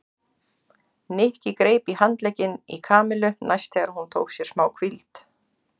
Nikki greip í handlegginn í Kamillu næst þegar hún tók sér málhvíld.